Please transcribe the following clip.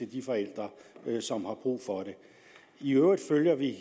de forældre som har brug for det i øvrigt følger vi